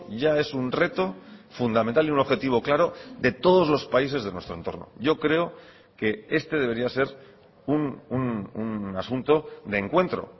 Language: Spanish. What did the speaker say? ya es un reto fundamental y un objetivo claro de todos los países de nuestro entorno yo creo que este debería ser un asunto de encuentro